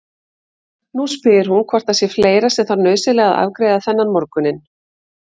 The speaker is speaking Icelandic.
Nú spyr hún hvort það sé fleira sem þarf nauðsynlega að afgreiða þennan morguninn.